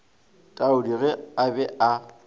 taudi ge a be a